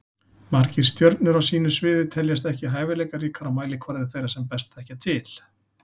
Margir stjörnur á sínu sviði teljast ekki hæfileikaríkar á mælikvarða þeirra sem best þekkja til.